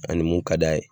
Ani mun ka d'a ye